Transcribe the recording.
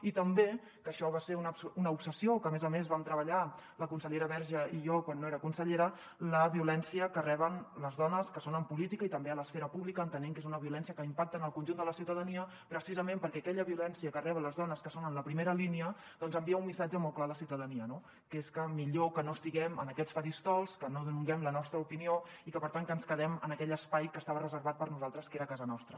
i també que això va ser una obsessió que a més a més vam treballar la consellera verge i jo quan no era consellera la violència que reben les dones que són en política i també a l’esfera pública entenent que és una violència que impacta en el conjunt de la ciutadania precisament perquè aquella violència que reben les dones que són en la primera línia envia un missatge molt clar a la ciutadania no que és millor que no estiguem en aquests faristols que no donem la nostra opinió i que per tant que ens quedem en aquell espai que estava reservat per a nosaltres que era a casa nostra